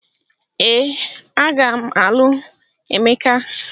Ee, a ga m alụ Emeka.